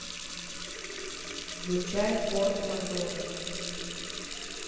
включай форс мажоры